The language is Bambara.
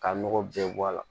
Ka nɔgɔ bɛɛ bɔ a la